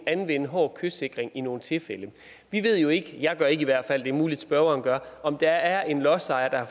anvende hård kystsikring i nogle tilfælde vi ved jo ikke jeg gør ikke i hvert fald det er muligt at spørgeren gør om der er en lodsejer der